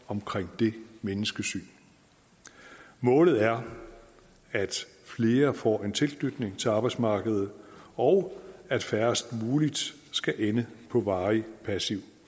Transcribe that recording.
omkring det menneskesyn målet er at flere får en tilknytning til arbejdsmarkedet og at færrest mulige skal ende på varig passiv